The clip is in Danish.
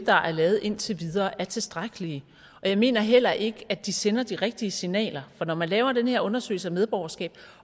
der er lavet indtil videre er tilstrækkelige og jeg mener heller ikke at de sender de rigtige signaler for når man laver den her undersøgelse af medborgerskab